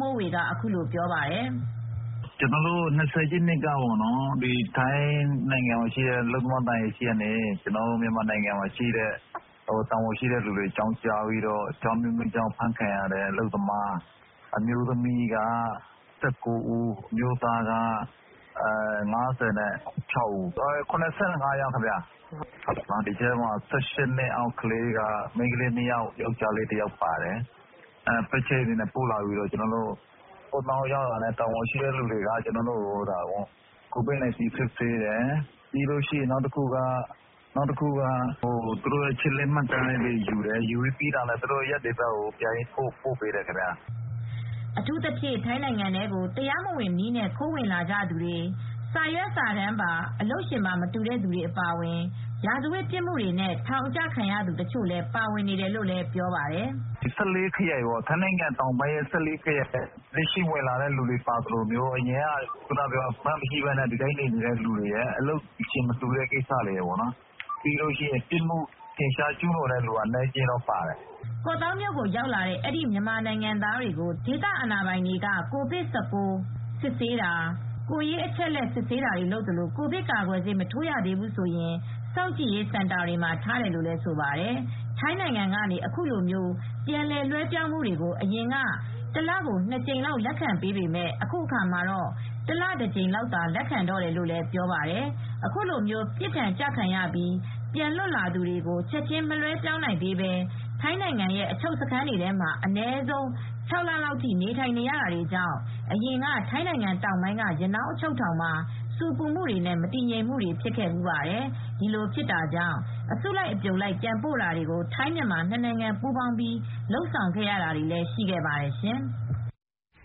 မိုးဝေက အခုလို ပြောပါတယ်။ “၂၀ရက်နေ့က ထိုင်းနိုင်ငံမှာရှိတဲ့မြန်မာအလုပ်သမားသံအရာရှိကနေ မြန်မာနိုင်ငံမှာရှိတဲ့ တာဝန်ရှိသူတွေကို အကြောင်းကြားပြီးတော့ အကြောင်းအမျိုးမျိုးကြောင့်အဖမ်းခံရတဲ့ အမျိုးသမီးက ၁၉ ဦး၊ အမျိုးသားက ၅၆ ဦး။ ၇၅ယောက်ပါခင်ဗျ။ အသက် ၁၈ နှစ်အောက်က မိန်းကလေး ၂ ယောက်၊ ယောက်ကျားလေး တယောက်ပါတယ်။ ပဲ့ချိတ်တွေနဲ့ပို့လာပြီး ကော့သောင်းရောက်တာနဲ့ ကိုဗစ် ၁၉ စစ်ဆေးတယ်။ ပြီးတော့ နောက်တခုက အချက်အလက်မှတ်တမ်းယူတယ်။ ပြီးတော့ သူတို့ကို နေရပ်ပြန်ပို့ပေးတယ်။” အထူးသဖြင့် ထိုင်းနိုင်ငံထဲကို တရားမဝင်နည်းနဲ့ခိုးဝင်လာကြသူတွေ၊ စာရွက်စာတမ်းပါ အလုပ်ရှင် မတူတဲ့သူတွေအပါအဝင် ရာဇဝတ်ပြစ်မူတွေနဲ့ ထောင်အကျခံရသူတချို့လည်း ပါဝင်နေတယ်လို့လည်း ပြောပါတယ်။ “ထိုင်းတောင်ပိုင်း ၁၄ ခရိုင်ထဲကလက်ရှိဝင်လာသူတွေပါသလို အရင်ကတည်းက လက်မှတ်မရှိသူတွေ၊ အလုပ်ရှင်မတူသူတွေ၊ ပြစ်မှုကျူးလွန်သူတွေကလည်း အနည်းအကျဉ်းတော့ပါတယ်။” ကော့သောင်းမြို့ကို ရောက်လာတဲ့ အဲဒီမြန်မာနိုင်ငံသားတွေကို ဒေသအာဏာပိုင်တွေက ကိုဗစ်-၁၉ စစ်ဆေးတာ၊ ကိုယ်ရေးအချက်အလက် စစ်ဆေးတာတွေလုပ်သလို ကိုဗစ်ကာကွယ်ဆေး မထိုးရသေးဘူးဆိုရင် စောင့်ကြည့်ရေးစင်တာတွေမှာထားတယ်လို့ ဆိုပါတယ်။ ထိုင်းကနေ အခုလို ပြန်လွဲပြောင်းပေးတာမျိုးကို အရင်က တလ ၂ ကြိမ်လောက် လက်ခံပေးပေမယ့် အခုအခါမှာတော့ တလ တကြိမ်လောက်သာ လက်ခံတော့တယ်လို့လည်း ပြောပါတယ်။ အခုလို ပြစ်ဒဏ်ကျခံပြီး ပြန်လွတ်လာသူတွေကို ချက်ချင်း မလွှဲပြောင်းနိုင်သေးဘဲ ထိုင်းနိုင်ငံရဲ့အချုပ်ခန်းတွေထဲမှာ အနည်းဆုံး ၆ လလောက်ထိ နေထိုင်နေရတာတွေကြောင့် အရင်က ထိုင်းနိုင်ငံတောင်ပိုင်းက ရနောင်းအချုပ်ထောင်မှာ ဆူပူမူတွေနဲ့ မတည်မငြိမ်ဖြစ်ခဲ့ဖူးပါတယ်။ ဒီလိုဖြစ်တာကြောင့် ထိုင်းမြန်မာနှစ်နိုင်ငံပူးပေါင်းပြီး အစုလိုက်အပြုံလိုက် ပြန်ပို့တာတွေလည်းရှိခဲ့ပါတယ်ရှင်။